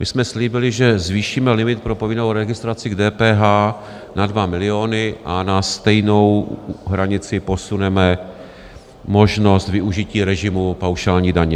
My jsme slíbili, že zvýšíme limit pro povinnou registraci k DPH na 2 miliony a na stejnou hranici posuneme možnost využití režimu paušální daně.